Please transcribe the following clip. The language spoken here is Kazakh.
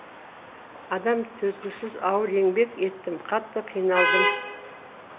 адам төзгісіз ауыр еңбек еттім қатты қиналдым